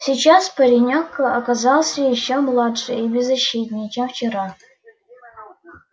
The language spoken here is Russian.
сейчас паренёк казался ещё младше и беззащитнее чем вчера